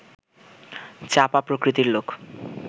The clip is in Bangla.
চাপা প্রকৃতির লোক